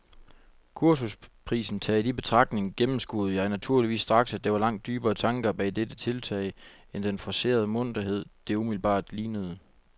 Kursusprisen taget i betragtning gennemskuede jeg naturligvis straks, at der var langt dybere tanker bag dette tiltag end den forcerede munterhed, det umiddelbart lignede.